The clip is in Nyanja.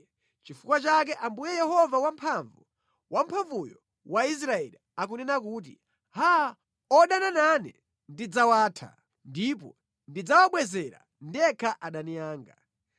Nʼchifukwa chake Ambuye Yehova Wamphamvu, Wamphamvuyo wa Israeli, akunena kuti, “Haa, odana nane ndidzawatha, ndipo ndidzawabwezera ndekha adani anga.